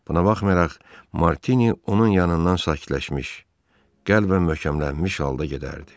Buna baxmayaraq Martini onun yanından sakitləşmiş, qəlbən möhkəmlənmiş halda gedərdi.